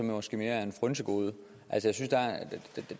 måske mere et frynsegode